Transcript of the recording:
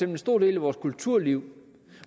en stor del af vores kulturliv